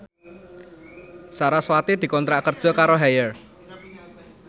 sarasvati dikontrak kerja karo Haier